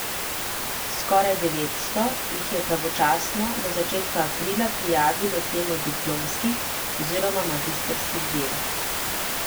Skoraj devetsto jih je pravočasno do začetka aprila prijavilo temo diplomskih oziroma magistrskih del.